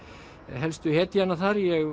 helstu hetjanna þar ég